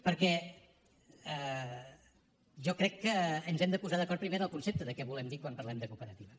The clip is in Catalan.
perquè jo crec que ens hem de posar d’acord primer amb el concepte de què volem dir quan parlem de cooperativa